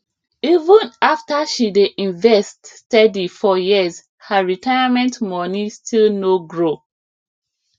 even after she dey invest steady for years her retirement money still no grow